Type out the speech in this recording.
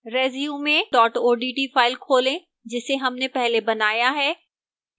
resume odt file खोलें जिसे हमने पहले बनाया है